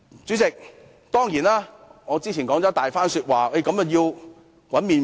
主席，我之前的長篇發言關乎如何製造"麪粉"。